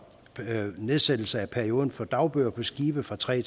nedsættelse af perioden for dagbøger på skibe fra tre